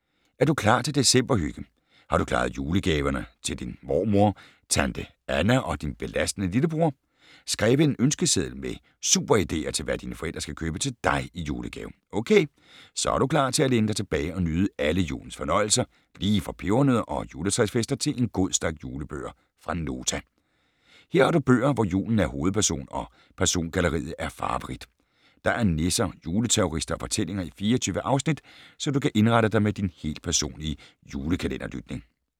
Er du klar til december-hygge? Har du klaret julegaverne til din mormor, tante Anna og din belastende lillebror? Skrevet en ønskeseddel med super ideer, til hvad dine forældre skal købe til dig i julegave? Ok, så er du klar til at læne dig tilbage og nyde alle julens fornøjelser, lige fra pebernødder og juletræsfester til en god stak julebøger fra Nota. Her har du bøger, hvor julen er hovedperson og persongalleriet er farverigt. Der er nisser, juleterrorister og fortællinger i 24 afsnit, så du kan indrette dig med din helt personlige julekalender-lytning.